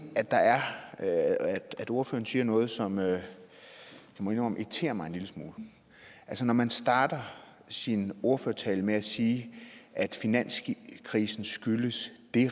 ordføreren siger noget som jeg må indrømme irriterer mig en lille smule altså man starter sin ordførertale med at sige at finanskrisen skyldes